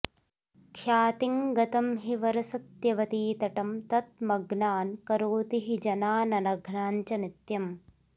ख्यातिङ्गतं हि वरसत्यवती तटं तत् मग्नान् करोति हि जनाननघान् च नित्यम्